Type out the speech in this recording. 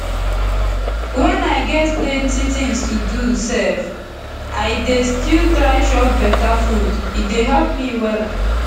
when i get plenty things to do sef i dey still try chop beta food e dey help me wella